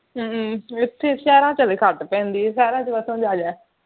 ਹੂ ਇਥੇ ਸ਼ਹਿਰਾਂ ਚ ਹਜੇ ਘੱਟ ਪੈਂਦੀ ਹੈ ਸ਼ਹਿਰਾਂ ਚ ਖੁਸ਼ਮਿਜਾਜ਼ ਹੈ